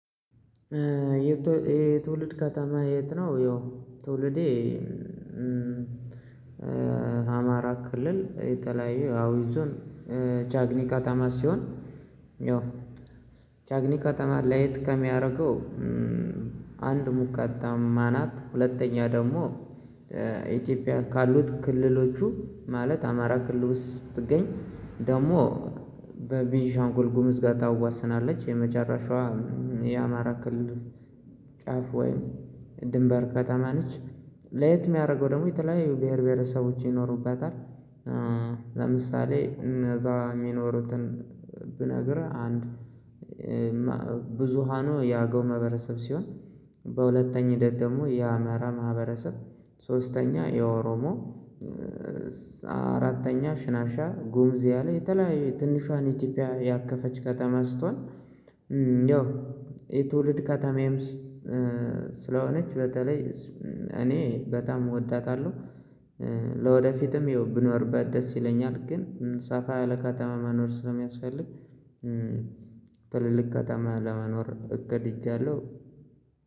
የትውልድ ከተማ የት ነው? ያው ትውልዴ አማራ ክልል የተለያዩ አውይዞን ቻግኒ ከተማ ሲሆን ያው ቻግኒ ከተማ ለየት ከሚያደርገው አንድ ሙቀታማ ናት። ሁለተኛ ደግሞ ኢትዮጵያ ካሉት ክልሎቹ ማለት አማራ ክልል ውስጥ ስትገኝ ደግሞ በቤንሻንጉል ጉምዝ ጋር ታዋስናለች። የመጨረሻዋም የአማራ ክልል ጫፍ ወይም ድንበር ከተማ ነች ለየት የሚያደርገው ደግሞ የተለያዩ ብሄር ብሄረሰቦች ይኖሩበታል። ለምሳሌ እነዛ የሚኖሩትን ብነግርህ አንድ ብዙሃኑ የአገው ማህበረሰብ ሲሆን በሁለተኛ ሂደት ደግሞ የአማራ ማህበረሰብ ሶስተኛ የኦሮሞ አራተኛ ሽናሻ ጉምዝ ያለ የተለያዩ ትንሿን ኢትዮጵያ ያከፈች ከተማ ስትሆን እንዲያው የትውልድ ከተማዬም ስለሆነች በተለይ እኔ በጣም እወዳታለሁ። ለወደፊትም ይኸው ብኖርባት ደስ ይለኛል ግን ሳፋ ያለ ከተማ መኖር ስለሚያስፈልግ ትልልቅ ከተማ ለመኖር እገድጃለሁ።